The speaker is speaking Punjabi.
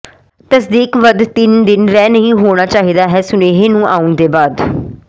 ਤਸਦੀਕ ਵੱਧ ਤਿੰਨ ਦਿਨ ਰਹਿ ਨਹੀ ਹੋਣਾ ਚਾਹੀਦਾ ਹੈ ਸੁਨੇਹੇ ਨੂੰ ਆਉਣ ਦੇ ਬਾਅਦ